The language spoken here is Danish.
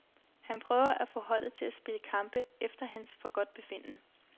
Han prøver få holdet til at spille kampe efter hans forgodtbefindende.